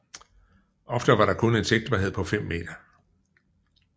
Ofte var der kun en sigtbarhed på 5 meter